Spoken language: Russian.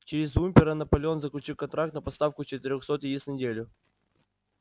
через уимпера наполеон заключил контракт на поставку четырёхсот яиц в неделю